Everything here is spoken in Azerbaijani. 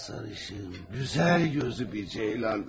Amma sarışın, gözəl gözlü bir ceylandır.